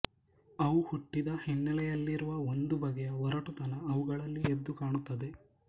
ಅವು ಹುಟ್ಟಿದ ಹಿನ್ನೆಲೆಯಲ್ಲಿರುವ ಒಂದು ಬಗೆಯ ಒರಟುತನ ಅವುಗಳಲ್ಲಿ ಎದ್ದುಕಾಣುತ್ತದೆ